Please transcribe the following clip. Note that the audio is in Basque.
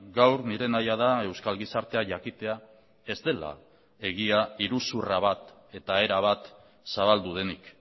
gaur nire nahia da euskal gizartea jakitea ez dela egia iruzurra bat eta erabat zabaldu denik